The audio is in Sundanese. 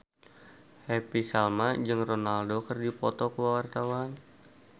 Happy Salma jeung Ronaldo keur dipoto ku wartawan